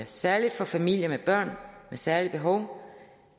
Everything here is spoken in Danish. særlig for familier med børn særlige behov